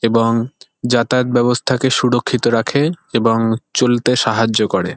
এবং যাতায়াত ব্যাবস্থাকে সুরক্ষিত রাখে এবং চলতে সাহায্য করে।